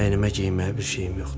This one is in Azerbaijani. Əynimə geyinməyə bir şeyim yoxdur.